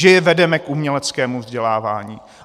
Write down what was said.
Že je vedeme k uměleckému vzdělávání.